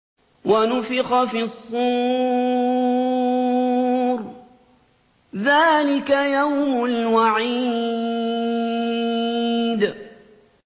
وَنُفِخَ فِي الصُّورِ ۚ ذَٰلِكَ يَوْمُ الْوَعِيدِ